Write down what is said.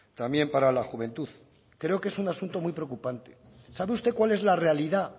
también para la juventud creo que es un asunto muy preocupante sabe usted cuál es la realidad